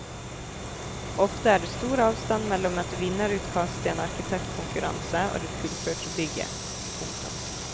Ofte er det stor avstand mellom et vinnerutkast i en arkitektkonkurranse og det fullførte bygget. punktum